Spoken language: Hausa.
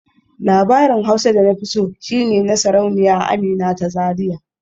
Labarin Hausa da na fi so shi ne na Sarauniya Amina ta Zariya